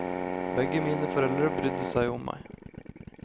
Begge mine foreldre brydde seg om meg.